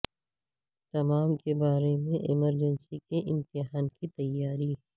تمام کے بارے میں ایمرجنسی کے امتحان کی تیاری